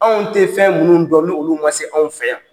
Anw te fɛn minnu dɔn ni olu ma se anw fɛ yan